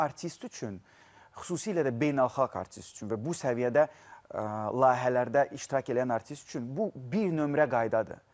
Bu artist üçün xüsusilə də beynəlxalq artist üçün və bu səviyyədə layihələrdə iştirak eləyən artist üçün bu bir nömrə qaydadır.